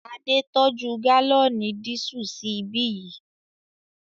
Adé tọ́jú gálọ̀nì dísù sí ibí yìí